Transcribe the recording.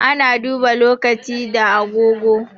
Ana duba lokaci da agogo.